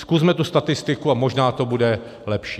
Zkusme tu statistiku a možná to bude lepší.